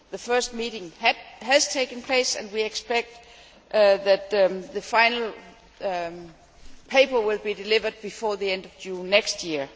The first meeting has taken place and we expect that the final paper will be delivered before the end of June next year.